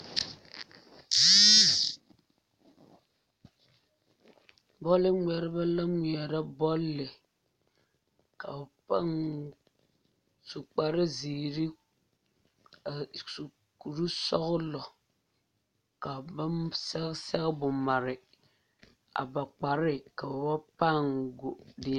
Bɔle ŋmeɛrebɛ la ŋmeɛrɛ bɔle ka ba pãâ su kparezeere a su kurisɔglɔ ka ba sɛge sɛgebo mare a ba kpare ka ba pãâ go.